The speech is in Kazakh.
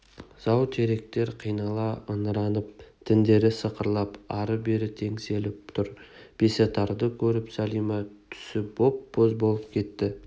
зау теректер қинала ыңыранып діндері сықырлап ары-бері теңселіп тұр бесатарды көріп сәлима түсі боп-боз болып кетті